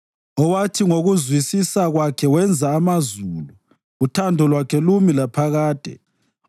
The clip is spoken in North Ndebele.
Owathi ngokuzwisisa kwakhe wenza amazulu, uthando lwakhe lumi laphakade.